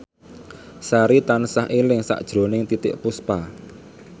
Sari tansah eling sakjroning Titiek Puspa